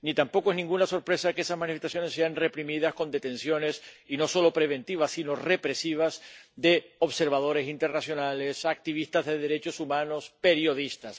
Ni tampoco es ninguna sorpresa que esas manifestaciones sean reprimidas con detenciones, y no solo preventivas, sino represivas, de observadores internacionales, activistas de derechos humanos, periodistas